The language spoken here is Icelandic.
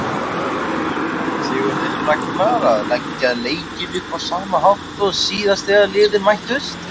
Ætlar Sigurður Ragnar að leggja leikinn upp á sama hátt og síðast þegar liðin mættust?